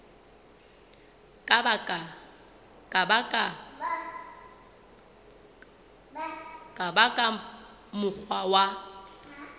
ka ba ka mokgwa wa